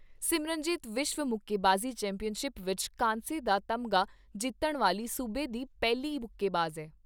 ਸਿਮਰਨਜੀਤ ਵਿਸ਼ਵ ਮੁੱਕੇਬਾਜੀ ਚੈਂਪੀਅਨਸ਼ਿਪ ਵਿਚ ਕਾਂਸੇ ਦਾ ਤਮਗਾ ਜਿੱਤਣ ਵਾਲੀ ਸੂਬੇ ਸੀ ਪਹਿਲੀ ਮੁੱਕੇਬਾਜ਼ ਐ।